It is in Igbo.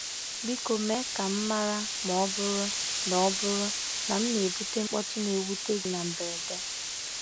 Biko mee ka m mara ma ọ bụrụ na ọ bụrụ na m na-ebute mkpọtụ na-ewute gị na mberede.